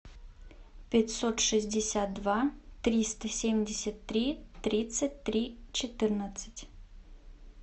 пятьсот шестьдесят два триста семьдесят три тридцать три четырнадцать